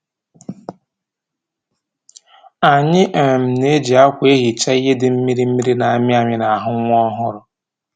Anyị um na-eji akwa ehicha ihe dị mmiri mmiri na-amịamị n'ahụ nwa ọhụrụ